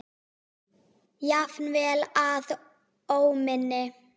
Jafnvel að óminni.